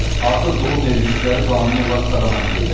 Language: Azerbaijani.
Artıq qohum evlilikləri qanuni olaraq qadağan edildi.